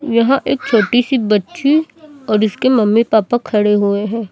यहां एक छोटी सी बच्ची और इसके मम्मी पापा खड़े हुए हैं।